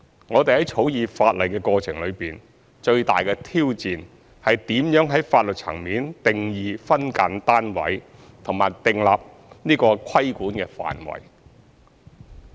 我們在草擬法例的過程中，最大的挑戰是如何在法律層面定義"分間單位"和訂立規管範圍。